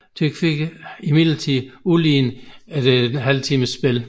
Tyrkiet fik imidlertid udlignet efter en halv times spil